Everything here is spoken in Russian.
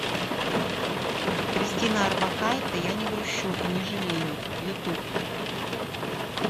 кристина орбакайте я не грущу и не жалею ютуб